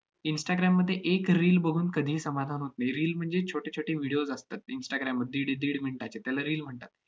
instagram मध्ये एक reel बघून कधीही समाधान होत नाही. reel म्हणजे छोटे छोटे videos असतात instagram मध्ये दीड-दीड minutes चे, त्याला reel म्हणतात.